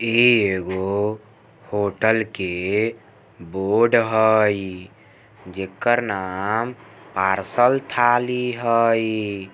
ई एगो होटल के बोर्ड हेय जकर नाम पार्सल ठाली हई।